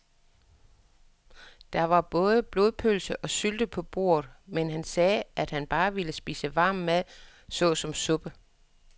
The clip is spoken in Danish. Der var både blodpølse og sylte på bordet, men han sagde, at han bare ville spise varm mad såsom suppe.